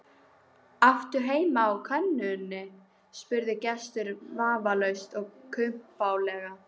Áttu heitt á könnunni? spurði gesturinn vafningalaust og kumpánlega.